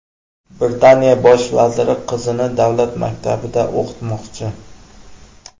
Britaniya bosh vaziri qizini davlat maktabida o‘qitmoqchi.